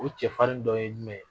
O cɛfarin dɔ ye jumɛn ye?